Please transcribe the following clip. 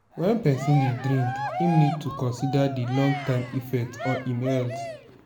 when person dey drink im need to consider di long term effect on im health